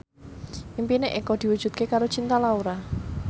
impine Eko diwujudke karo Cinta Laura